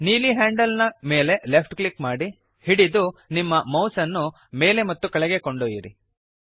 ನೀಲಿ ಹ್ಯಾಂಡಲ್ ನ ಮೇಲೆ ಲೆಫ್ಟ್ ಕ್ಲಿಕ್ ಮಾಡಿ ಹಿಡಿದು ನಿಮ್ಮ ಮೌಸ್ ಅನ್ನು ಮೇಲೆ ಮತ್ತು ಕೆಳಗೆ ಕೊಂಡೊಯ್ಯಿರಿ